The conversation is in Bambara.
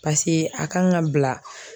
a kan ka bila